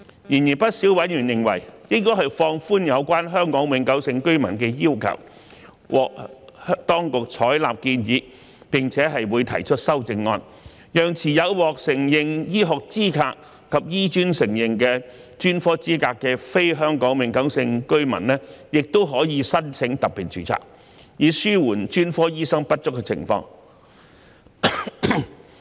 然而，不少委員認為，應放寬有關香港永久性居民的要求，獲當局採納建議並會提出修正案，讓持有獲承認醫學資格及醫專承認的專科資格的非香港永久性居民亦可申請特別註冊，以紓緩專科醫生不足的情況。